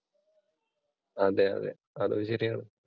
അതെ അതേ, അതും ശരിയാണ്.